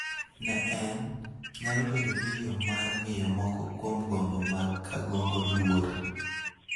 Ne en, nyalo bedo ni yo mar miyo moko kuom gombo mag Kangogo luor